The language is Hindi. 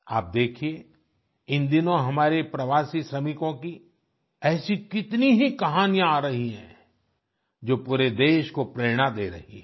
आप देखिए इन दिनों हमारे प्रवासी श्रमिकों की ऐसी कितनी ही कहानियां आ रही हैं जो पूरे देश को प्रेरणा दे रही हैं